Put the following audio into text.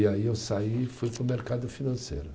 E aí eu saí e fui para o mercado financeiro.